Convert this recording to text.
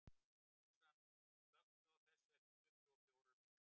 Súsan, slökktu á þessu eftir tuttugu og fjórar mínútur.